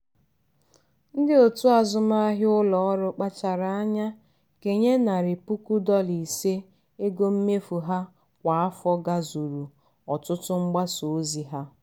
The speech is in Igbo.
ndị otu azụmahịa ụlọọrụ kpachara anya kenye narị puku dọla ise ego mmefu ha kwa afọ gazuru ọtụtụ mgbasa ozi ha.